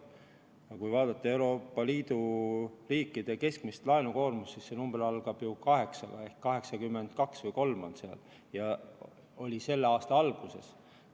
Aga kui vaadata Euroopa Liidu riikide keskmist laenukoormust, siis see number algab kaheksaga ehk 82 või 83% Nii see oli ka selle aasta alguses.